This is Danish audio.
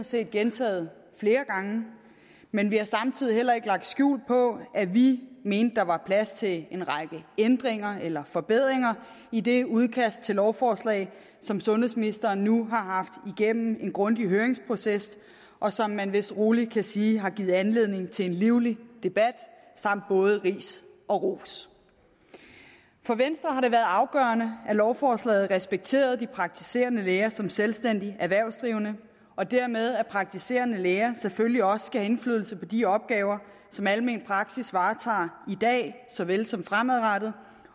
set gentaget flere gange men vi har samtidig heller ikke lagt skjul på at vi mente at der var plads til en række ændringer eller forbedringer i det udkast til lovforslag som sundhedsministeren nu har haft igennem en grundig høringsproces og som man vist rolig kan sige har givet anledning til en livlig debat samt både ris og ros for venstre har det været afgørende at lovforslaget respekterede de praktiserende læger som selvstændige erhvervsdrivende og dermed at praktiserende læger selvfølgelig også skal have indflydelse på de opgaver som almen praksis varetager i dag såvel som fremadrettet